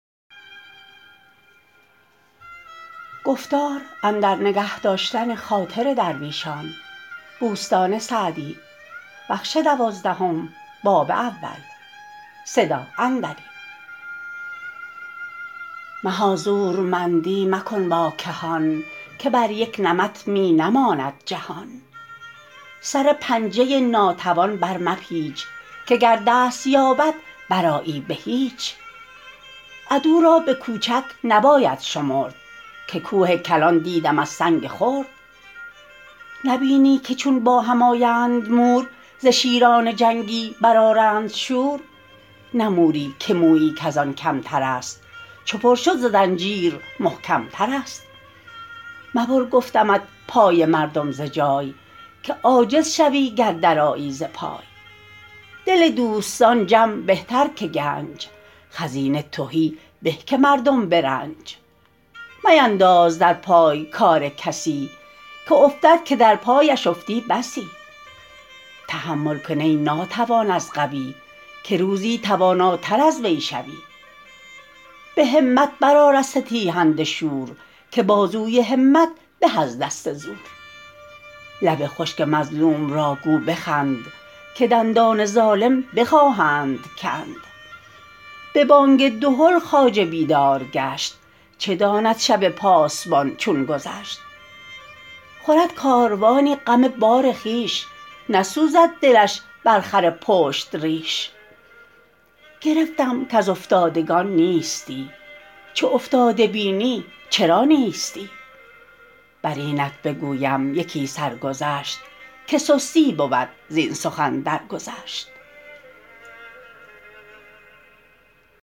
مها زورمندی مکن با کهان که بر یک نمط می نماند جهان سر پنجه ناتوان بر مپیچ که گر دست یابد برآیی به هیچ عدو را به کوچک نباید شمرد که کوه کلان دیدم از سنگ خرد نبینی که چون با هم آیند مور ز شیران جنگی برآرند شور نه موری که مویی کز آن کمتر است چو پر شد ز زنجیر محکمتر است مبر گفتمت پای مردم ز جای که عاجز شوی گر درآیی ز پای دل دوستان جمع بهتر که گنج خزینه تهی به که مردم به رنج مینداز در پای کار کسی که افتد که در پایش افتی بسی تحمل کن ای ناتوان از قوی که روزی تواناتر از وی شوی به همت برآر از ستیهنده شور که بازوی همت به از دست زور لب خشک مظلوم را گو بخند که دندان ظالم بخواهند کند به بانگ دهل خواجه بیدار گشت چه داند شب پاسبان چون گذشت خورد کاروانی غم بار خویش نسوزد دلش بر خر پشت ریش گرفتم کز افتادگان نیستی چو افتاده بینی چرا نیستی بر اینت بگویم یکی سرگذشت که سستی بود زین سخن درگذشت